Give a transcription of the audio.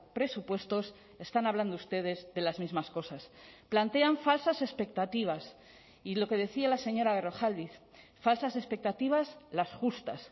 presupuestos están hablando ustedes de las mismas cosas plantean falsas expectativas y lo que decía la señora berrojalbiz falsas expectativas las justas